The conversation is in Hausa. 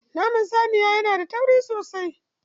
Naman saniya yana da tauri sosai.